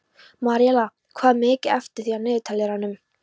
Maríella, hvað er mikið eftir af niðurteljaranum?